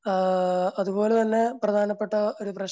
ആഹ് അതുപോലെ തന്നെ പ്രധാനപ്പെട്ട ഒരു